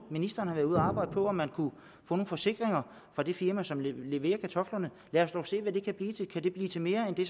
ministeren har været ude at arbejde på om man kunne få nogle forsikringer fra det firma som leverer kartoflerne lad os dog se hvad det kan blive til kan det blive til mere end det